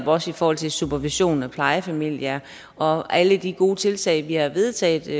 også i forhold til supervision af plejefamilier og alle de gode tiltag som vi har vedtaget de